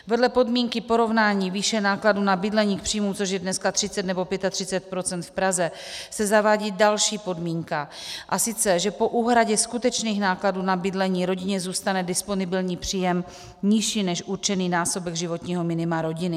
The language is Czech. Vedle podmínky porovnání výše nákladů na bydlení k příjmům, což je dneska 30 nebo 35 % v Praze, se zavádí další podmínka, a sice že po úhradě skutečných nákladů na bydlení rodině zůstane disponibilní příjem nižší než určený násobek životního minima rodiny;